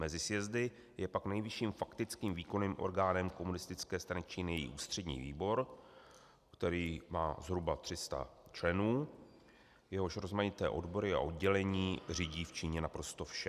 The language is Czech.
Mezi sjezdy je pak nejvyšším faktickým výkonným orgánem Komunistické strany Číny její Ústřední výbor, který má zhruba 300 členů, jehož rozmanité odbory a oddělení řídí v Číně naprosto vše.